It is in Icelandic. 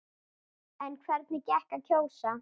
En hvernig gekk að kjósa?